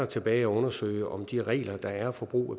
tilbage at undersøge om de samme regler der er for brug